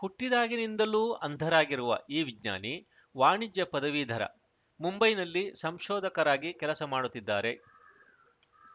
ಹುಟ್ಟಿದಾಗಿನಿಂದಲೂ ಅಂಧರಾಗಿರುವ ಈ ವಿಜ್ಞಾನಿ ವಾಣಿಜ್ಯ ಪದವೀಧರ ಮುಂಬೈನಲ್ಲಿ ಸಂಶೋಧಕರಾಗಿ ಕೆಲಸ ಮಾಡುತ್ತಿದ್ದಾರೆ